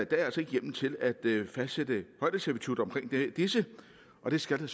altså ikke hjemmel til at fastsætte højdeservitutter for disse og det skal der